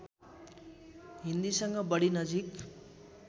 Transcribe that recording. हिन्दीसँग बढी नजिक